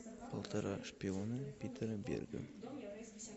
полтора шпиона питера берга